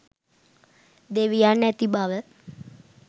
දෙවියන් ඇති බව